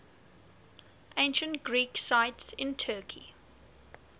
ancient greek sites in turkey